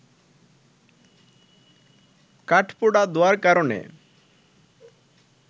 কাঠপোড়া ধোঁয়ার কারণে